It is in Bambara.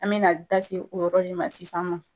An bɛna da se o yɔrɔ in de ma sisan ma.